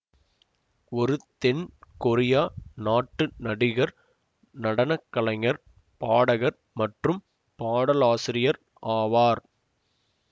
ஒரு தென் கொரியா நாட்டு நடிகர் நடன கலைஞர் பாடகர் மற்றும் பாடலாசிரியர் ஆவார்